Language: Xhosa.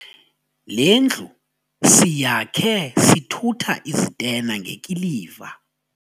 Le ndlu siyakhe sithutha izitena ngekiliva.